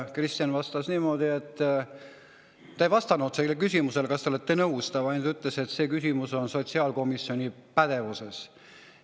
Kristen ei vastanud sellele küsimusele, ta ainult ütles, et see küsimus on sotsiaalkomisjoni pädevuses.